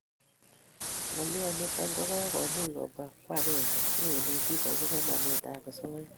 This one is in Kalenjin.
Ngolyo nitok ko komuch kobwa kwa ag'eng'e si kenetis akobo namet ab asoya